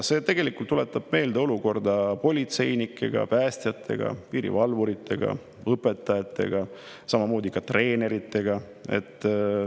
See tuletab meelde olukorda politseinikega, päästjatega, piirivalvuritega, õpetajatega, samamoodi ka treeneritega.